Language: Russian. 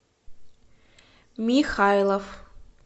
михайлов